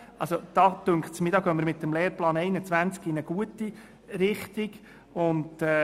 Mir scheint, dass wir hier mit dem Lehrplan 21 in eine gute Richtung gehen.